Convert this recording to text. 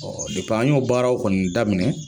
an y'o baaraw kɔni daminɛ